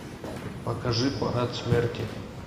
покажи парад смерти